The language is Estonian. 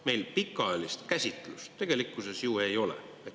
Meil pikaajalist käsitlust tegelikkuses ju ei ole.